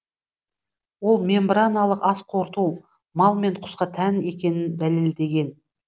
ол мембраналық ас қорыту мал мен құсқа тән екенін дәлелдеген